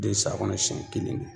den san kɔnɔ siyɛn kelen